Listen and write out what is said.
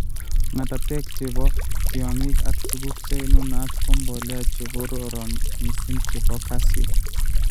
ng'atatek che po tyong'ik ak tuguk che nunat ko mbolea che korooron mising' che po kasyu.